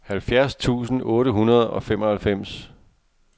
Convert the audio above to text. halvfjerds tusind otte hundrede og femoghalvfems